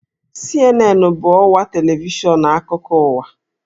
CNN bụ ọwa televishọn akụkọ ụwa